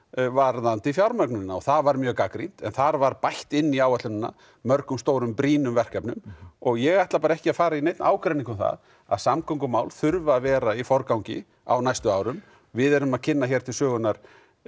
varðandi fjármögnunina og það var mjög gagnrýnt þar var bætt inn í áætlunina mörgum stórum brýnum verkefnum og ég ætla ekki að fara í neinn ágreining um það að samgöngumál þurfa að vera í forgangi á næstu árum við erum að kynna hér til sögunnar